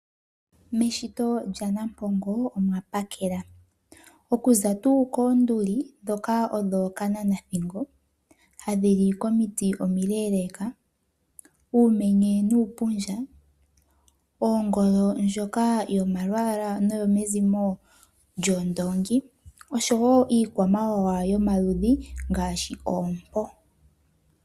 Meshito lya Nampongo omwa pakela okuza tuu koonduli dhoka odho kananathingo, hadhi li komiti omileleka, uumenye nuupundja, ongoo ndjoka yomalwaala noyo mezimo lyoondongi. Oshowo iikwamawawa yomaludhi ngaashi oompo.